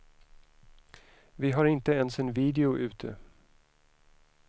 Vi har inte ens en video ute.